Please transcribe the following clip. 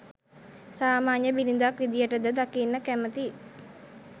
සාමාන්‍ය බිරිඳක් විදියට ද දකින්න කැමැති?